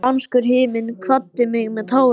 Spánskur himinn kvaddi mig með tárum.